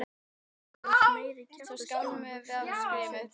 Þú ert nú meiri kjaftaskjóðan hugsaði hann með sjálfum sér.